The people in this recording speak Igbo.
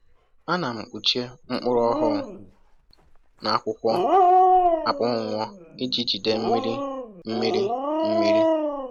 A na m kpuchie mkpụrụ ọhụụ na akwụkwọ akpọnwụwo iji jide mmiri mmiri mmiri